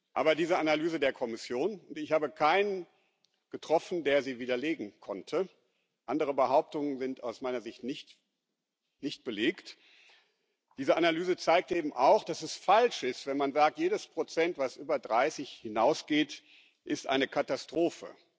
Aber diese Analyse der Kommission und ich habe keinen getroffen, der sie widerlegen konnte, andere Behauptungen sind aus meiner Sicht nicht belegt zeigt eben auch, dass es falsch ist, wenn man sagt, jedes Prozent, das über 30 hinausgeht, ist eine Katastrophe.